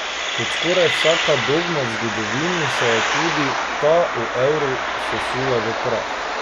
Kot skoraj vsaka dogma v zgodovini se je tudi ta o evru sesula v prah.